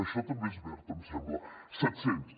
això també és verd em sembla set cents